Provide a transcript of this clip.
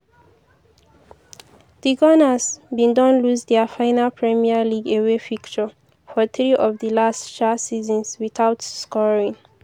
di gunners bin don lose dia final premier league away fixture for three of di last um seasons without scoring.